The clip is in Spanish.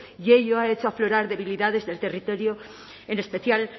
y hoy ha hecho aflorar debilidades del territorio en especial